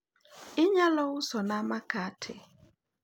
inyalo uso na makate?